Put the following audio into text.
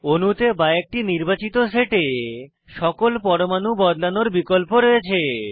অণুতে বা একটি নির্বাচিত সেটে সকল পরমাণু বদলানোর বিকল্প রয়েছে